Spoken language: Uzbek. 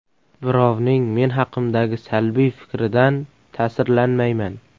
Birovning men haqimdagi salbiy fikridan ta’sirlanmayman.